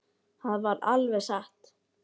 Það var alveg satt.